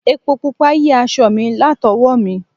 Epo Pupa yí aṣọ mi latowo mi.